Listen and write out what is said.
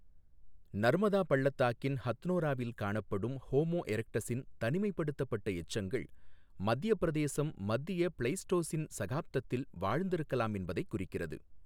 நர்மதா பள்ளத்தாக்கின் ஹத்னோராவில் காணப்படும் ஹோமோ எரெக்டஸின் தனிமைப்படுத்தப்பட்ட எச்சங்கள் மத்தியப் பிரதேசம் மத்திய பிளெய்ஸ்டோசீன் சகாப்தத்தில் வாழ்ந்திருக்கலாம் என்பதைக் குறிக்கிறது.